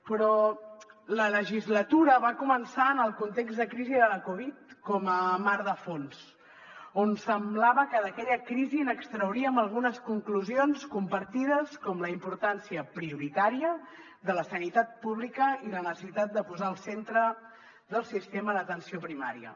però la legislatura va començar amb el context de crisi de la covid com a mar de fons on semblava que d’aquella crisi n’extrauríem algunes conclusions compartides com la importància prioritària de la sanitat pública i la necessitat de posar al centre del sistema l’atenció primària